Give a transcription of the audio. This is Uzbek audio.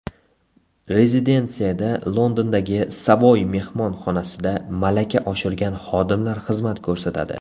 Rezidensiyada Londondagi Savoy mehmonxonasida malaka oshirgan xodimlar xizmat ko‘rsatadi.